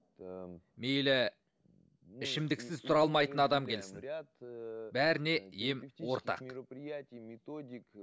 мейлі ішімдіксіз тұра алмайтын адам келсін бәріне ем ортақ мероприятии методик